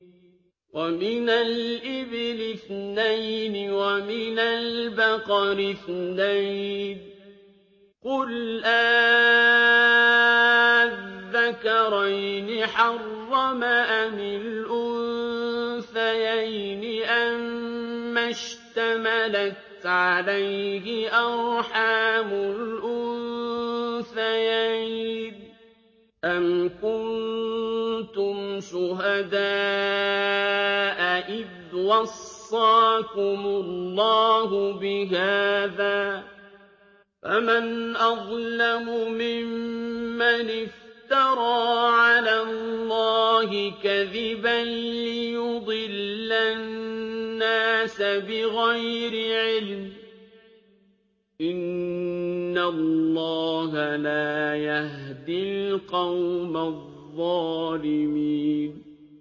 وَمِنَ الْإِبِلِ اثْنَيْنِ وَمِنَ الْبَقَرِ اثْنَيْنِ ۗ قُلْ آلذَّكَرَيْنِ حَرَّمَ أَمِ الْأُنثَيَيْنِ أَمَّا اشْتَمَلَتْ عَلَيْهِ أَرْحَامُ الْأُنثَيَيْنِ ۖ أَمْ كُنتُمْ شُهَدَاءَ إِذْ وَصَّاكُمُ اللَّهُ بِهَٰذَا ۚ فَمَنْ أَظْلَمُ مِمَّنِ افْتَرَىٰ عَلَى اللَّهِ كَذِبًا لِّيُضِلَّ النَّاسَ بِغَيْرِ عِلْمٍ ۗ إِنَّ اللَّهَ لَا يَهْدِي الْقَوْمَ الظَّالِمِينَ